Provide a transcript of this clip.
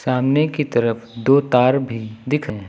सामने की तरफ दो तार भी दिख रहे--